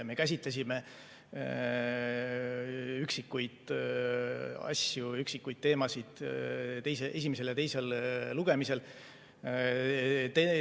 Me käsitlesime üksikuid asju, üksikuid teemasid esimesel ja teisel lugemisel.